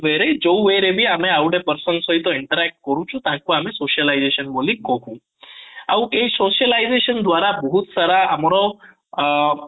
ରେ ବି ଯୋଉ way ରେ ଆମେ ଆଉ ଗୋଟିଏ person ସହିତ interact କରୁଛୁ ତାଙ୍କୁ ଆମେ socialization ବୋଲି କହୁ ଆଉ ଏଇ socialization ଦ୍ୱାରା ବହୁତ ସାରା ଆମର ଅଂ